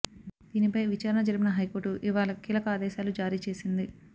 దీనిపై విచారణ జరిపిన హైకోర్టు ఇవాళ కీలక ఆదేశాలు జారీ చేసింది